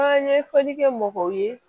An ye fɔli kɛ mɔgɔw ye